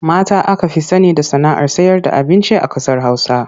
Mata aka fi sani da sana'ar sayarda abinci a ƙasar Hausa.